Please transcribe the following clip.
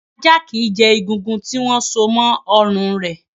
Ajá kì í jẹ egungun, tí wọ́n so mọ́ ọrùn rẹ̀.